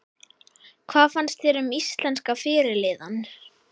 Hvað fannst þér um íslenska fyrirliðann?